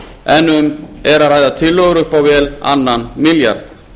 en um er að ræða tillögur upp á vel á annan milljarð